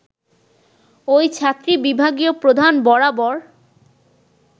ওই ছাত্রী বিভাগীয় প্রধান বরাবর